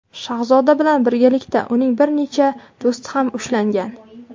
Shahzoda bilan birgalikda uning bir necha do‘sti ham ushlangan.